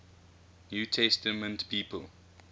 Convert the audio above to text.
new testament people